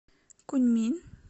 куньмин